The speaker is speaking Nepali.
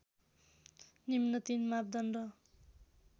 निम्न तीन मापदण्ड